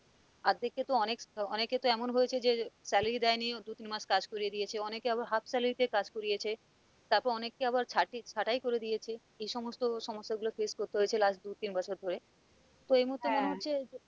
অর্ধেকে কে অনেক অনেকে তো এমন হয়েছে যে salary দেয়নি দু-তিন মাস কাজ করিয়ে দিয়েছে অনেকে আবার half salary তে কাজ করিয়েছে তারপর অনেক কে আবার ছা ছাটাই করে দিয়েছে এ সমস্ত সমস্যা গুলো face করতে হয়েছে last দু-তিন বছর ধরে তো এই মুহুর্তে মনে হচ্ছে যে